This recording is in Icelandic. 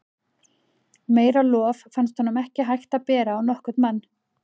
Meira lof fannst honum ekki vera hægt að bera á nokkurn mann.